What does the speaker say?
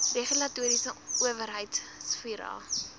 regulatoriese owerheid psira